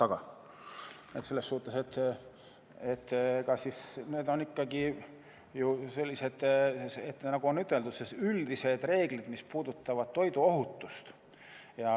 Aga selles suhtes, need on ikkagi ju sellised, nagu on üteldud, üldised reeglid, mis puudutavad toiduohutust.